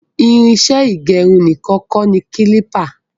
Irinṣẹ ígẹrun nìkan kọ ní klipa